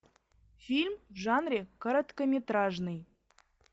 фильм в жанре короткометражный